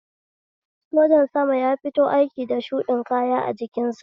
Sojan sama ya fito aiki da shuɗin kaya a jikin sa